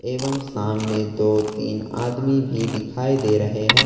एवं सामने दो तीन आदमी भी दिखाई दे रहे हैं।